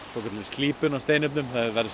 slípun á steinefnum það verður